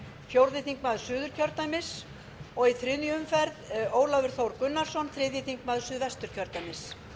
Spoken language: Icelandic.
fjórði þingmaður suðurkjördæmis og í þriðju umferð ólafur þór gunnarsson þriðji þingmaður suðvesturkjördæmis